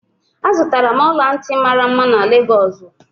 Azụtara m ọla ntị mara mma na Lagosu.